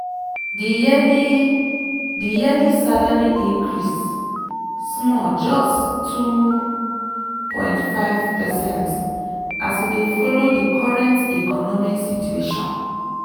di yearly di yearly salary increase small just 2.5 percent as e dey follow di current economic situation.